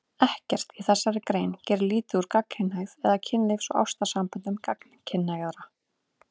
Ekkert í þessari grein gerir lítið úr gagnkynhneigð eða kynlífs- og ástarsamböndum gagnkynhneigðra.